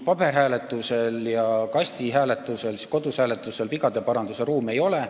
Paberhääletusel ja kasti- ehk kodushääletusel vigade parandamise ruumi ei ole.